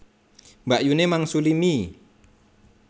Mbakyune mangsuli mie